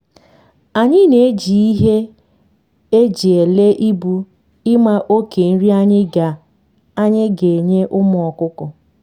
anyi na eji ihe eji ele ibu ima oke nri anyi ga anyi ga enye ụmụ ọkụkọ